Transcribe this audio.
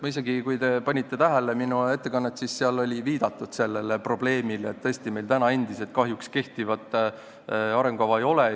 Ma isegi viitasin oma ettekandes, kui te tähele panite, sellele probleemile, et tõesti, täna meil endiselt kahjuks kehtivat arengukava ei ole.